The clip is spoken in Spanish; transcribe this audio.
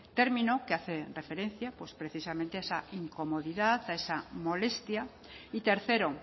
término que hace referencia pues precisamente a esa incomodidad a esa molestia y tercero